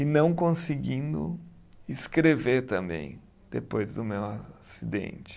E não conseguindo escrever também, depois do meu acidente.